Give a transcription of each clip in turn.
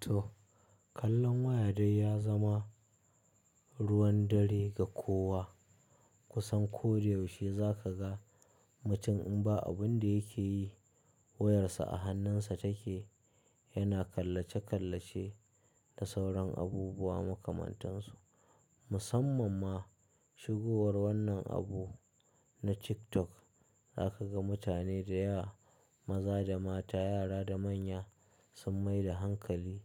To, kallon waya dai ya zama ruwan dare ga kowa. Kusan ko da yaushe za ka ga mutum in ba abin da yake yi, wayarsa a hannunsa take yana kallace-kallace da sauran abubuwa makamantansu. Musamman ma shigowar wannan abu na TikTok za ka ga mutane da yawa, maza da mata, yara da manya sun mai da hankali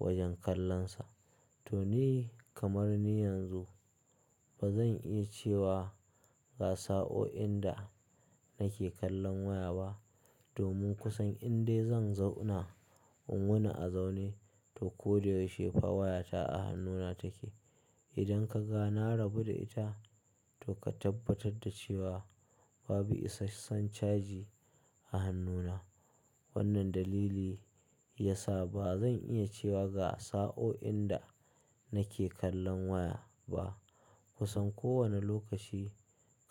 wajen kallonsa. To ni kamar ni yanzu ba zan iya cewa ga sa'o'in da nake kallon waya ba domin kusan in dai zan zauna, in wuna a zaune to ko da yaushe fa wayata a hannuna take. Idan ka ga na rabu da ita to ka tabbatar da cewa babu isa san caji a hannuna. Wannan dalili ya sa ba zan iya cewa ga sa'o'in da nake kallon waya ba. Kusan kowane lokaci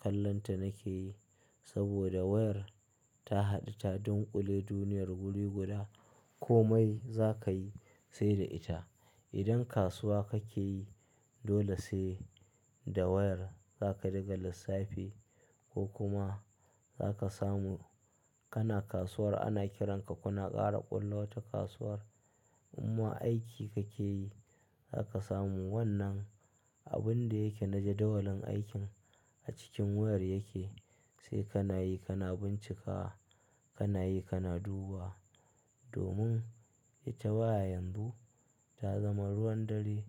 kallonta nake yi saboda wayar ta haɗu ta dunƙule duniyar guri guda. Komai za ka yi sai da ita. Idan kasuwa kake yi dole sai da wayar za ka diga lissafi ko kuma za ka samu kana kasuwar ana kiranka kuna ƙara ƙulla wata kasuwar. Amma aiki kake yi za ka samu wannan abun da yake na jadawalin aikin a cikin wayar yake sai kana yi kana bincika, kana yi kana duba. Domin ita waya yanzu ta zama ruwan dare,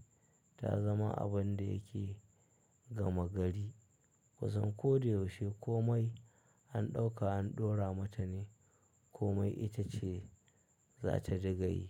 ta zama abun da yake gama gari. Kusan ko da yaushe komai an ɗauka an dora mata ne komai ita ce za ta diga yi.